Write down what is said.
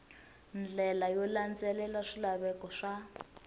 ndlela yo landzelela swilaveko swa